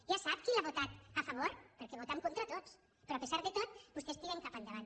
ja sap qui l’ha votat a favor perquè vot en contra tots però a pesar de tot vostès tiren cap endavant